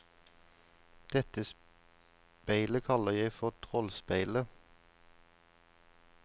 Dette speilet kaller jeg for trollspeilet.